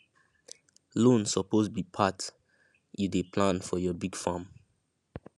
loan suppose be part you dey plan for your big farm